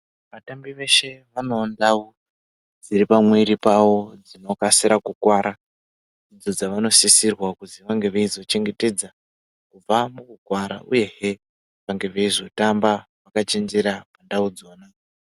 Atambi eshe vanewo ndau dziri pamwiiri pavo dzinokasira kukuwara, idzo dzavanosisirwa kuzi vange veizochengetedza kubva mukukuwara, uyehe vange veizotamba vakachenjera ndau idzodzo.